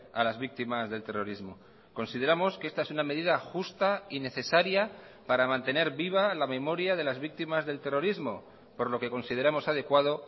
a las víctimas del terrorismo consideramos que esta es una medida justa y necesaria para mantener viva la memoria de las víctimas del terrorismo por lo que consideramos adecuado